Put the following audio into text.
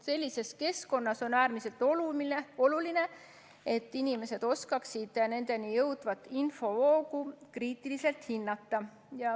Sellises keskkonnas on äärmiselt oluline, et inimesed oskaksid nendeni jõudvat infovoogu kriitiliselt hinnata.